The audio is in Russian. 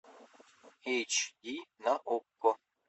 эч ди на окко